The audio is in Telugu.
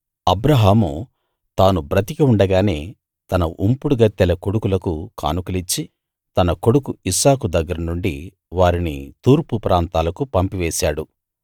అబ్రాహాము తాను బ్రతికి ఉండగానే తన ఉంపుడుగత్తెల కొడుకులకు కానుకలిచ్చి తన కొడుకు ఇస్సాకు దగ్గర నుండి వారిని తూర్పు ప్రాంతాలకు పంపి వేశాడు